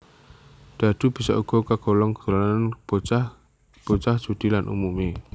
Dhadhu bisa uga kagolong dolanan bocah bocah judi lan umumé